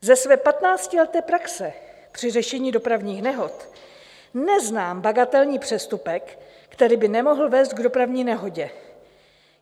Ze své patnáctileté praxe při řešení dopravních nehod neznám bagatelní přestupek, který by nemohl vést k dopravní nehodě.